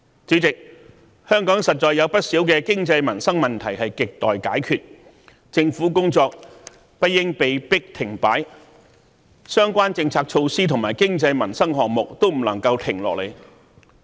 主席，香港實在有不少經濟、民生問題亟待解決，政府工作不應被迫停擺，相關政策措施和經濟民生項目都不能停下來。